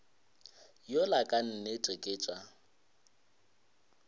yola ka nnete ke tša